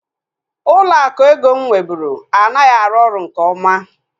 Ụlọ akụ eko mụ nweburu anaghị arụ ọrụ nke oma